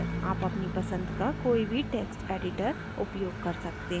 आप अपनी पसंद का कोई भी टेक्स्ट editor उयोग कर सकते हैं